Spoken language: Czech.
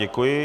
Děkuji.